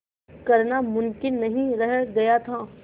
करना मुमकिन नहीं रह गया था